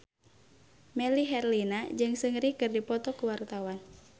Melly Herlina jeung Seungri keur dipoto ku wartawan